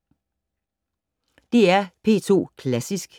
DR P2 Klassisk